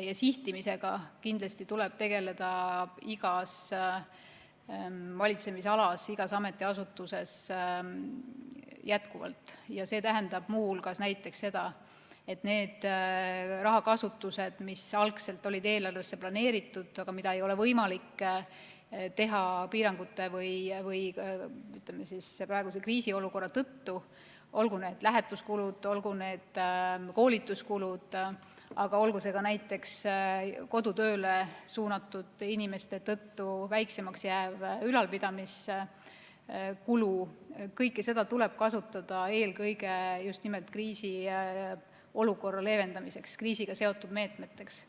ja sihtimisega kindlasti tegeleda igas valitsemisalas, igas ametiasutuses edaspidigi ning see tähendab muu hulgas seda, et see rahakasutus, mis algselt oli eelarves planeeritud, aga mida ei ole piirangute või praeguse kriisiolukorra tõttu võimalik teha, olgu need lähetuskulud, olgu need koolituskulud, aga olgu see ka näiteks kodutööle suunatud inimeste tõttu väiksemaks jääv ülalpidamiskulu, kõike seda tuleb kasutada justnimelt eelkõige kriisiolukorra leevendamiseks, kriisiga seotud meetmeteks.